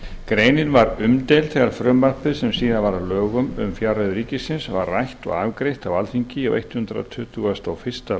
greinin var umdeild þegar frumvarpið sem síðar varð að lögum um fjárreiður ríkisins var rætt og afgreitt á alþingi á hundrað tuttugasta og fyrsta